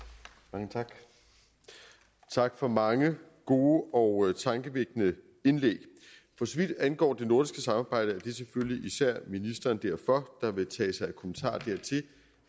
mange tak og tak for mange gode og tankevækkende indlæg for så vidt angår det nordiske samarbejde er det selvfølgelig især ministeren derfor der vil tage sig af kommentarer dertil